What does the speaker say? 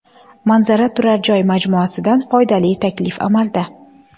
Manzara turar joy majmuasidan foydali taklif amalda.